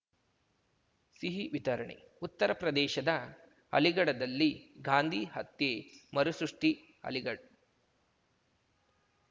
ಸಿಹಿ ವಿತರಣೆ ಉತ್ತರಪ್ರದೇಶದ ಅಲಿಗಢದಲ್ಲಿ ಗಾಂಧಿ ಹತ್ಯೆ ಮರುಸೃಷ್ಟಿ ಅಲಿಗಡ್